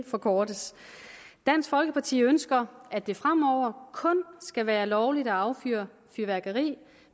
forkortes dansk folkeparti ønsker at det fremover kun skal være lovligt at affyre fyrværkeri